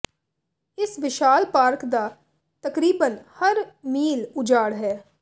ਇਸ ਵਿਸ਼ਾਲ ਪਾਰਕ ਦਾ ਤਕਰੀਬਨ ਹਰ ਮੀਲ ਉਜਾੜ ਹੈ